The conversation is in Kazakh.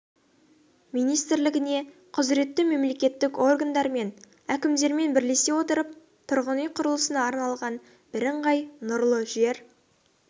министрлігіне құзіретті мемлекеттік органдар мен әкімдермен бірлесе отырып тұрғын үй құрылысына арналған бірыңғай нұрлы жер